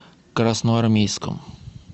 красноармейском